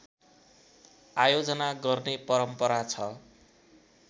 आयोजना गर्ने परम्परा छ